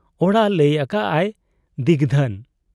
ᱚᱲᱟᱜ ? ᱞᱟᱹᱭ ᱟᱠᱟᱜ ᱟᱭ, 'ᱫᱤᱜᱽᱫᱷᱟᱹᱱ ᱾'